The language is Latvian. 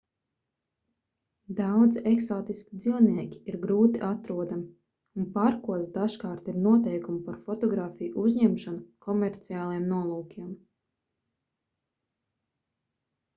daudzi eksotiski dzīvnieki ir grūti atrodami un parkos dažkārt ir noteikumi par fotogrāfiju uzņemšanu komerciāliem nolūkiem